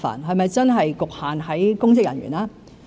是否真的局限於公職人員？